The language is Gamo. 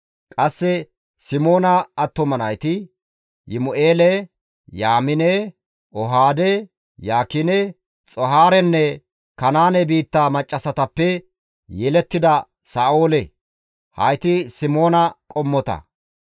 Qasse Simoona attuma nayti, Yimu7eele, Yaamine, Ohaade, Yaakine, Xoohaarenne Kanaane biitta maccassatappe yelettida Sa7oole; hayti Simoona qommota.